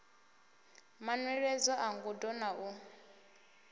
manweledzo a ngudo na u